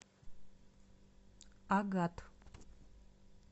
агат